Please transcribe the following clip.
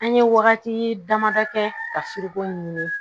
An ye wagati damadɔ kɛ ka ɲini